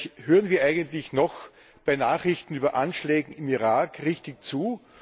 Ehrlich Hören wir eigentlich noch bei Nachrichten über Anschläge in Irak richtig zu?